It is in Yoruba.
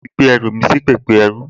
Mo ti gbé ẹrù mi sí pẹpẹ ẹrú